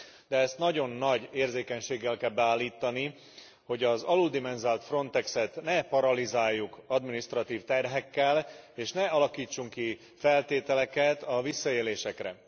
De ezt nagyon nagy érzékenységgel kell beállítani, hogy az aluldimenzionált Frontexet ne paralizáljuk adminisztratív terhekkel, és ne alakítsunk ki feltételeket a visszaélésekre.